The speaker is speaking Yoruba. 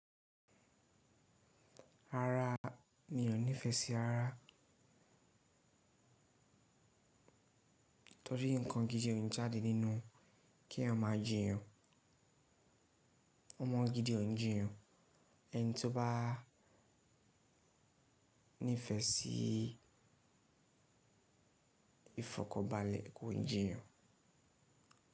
Rara ni ò nífẹsí rara torí nǹkan gidi o ń jáde nínú kí ẹyan máà jíyàn, ọmọ gidi o ń jíyàn ẹni tí ó bá níìfẹ̀ sí ìfọ̀kọbalẹ̀ kò ń jíyàn.